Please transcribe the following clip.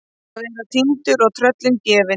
Að vera týndur og tröllum gefin